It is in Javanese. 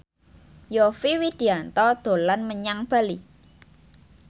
Yovie Widianto dolan menyang Bali